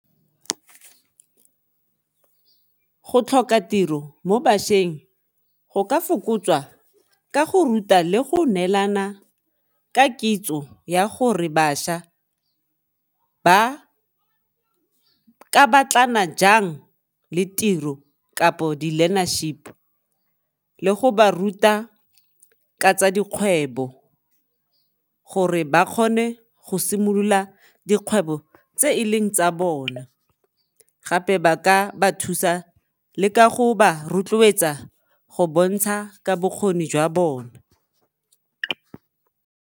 Go tlhoka tiro mo bašweng go ka fokotswa ka go ruta le go neelana ka kitso ya gore bašwa ba ka batlana jang le tiro kapo di-learnership le go ba ruta ka tsa dikgwebo gore ba kgone go simolola dikgwebo tse e leng tsa bona gape ba ka ba thusa le ka go ba rotloetsa go bontsha ka bokgoni jwa bona